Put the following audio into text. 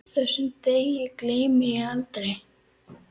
Þessum degi gleymi ég aldrei.